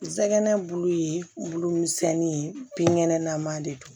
Nsɛgɛn bulu ye bulu misɛnni ye binkɛnɛ nama de don